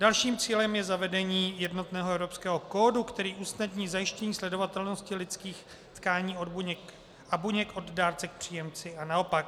Dalším cílem je zavedení jednotného evropského kódu, který usnadní zajištění sledovatelnosti lidských tkání a buněk od dárce k příjemci a naopak.